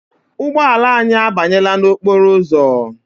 Ụgbọala anyị a banyela n'okporo ụzọ.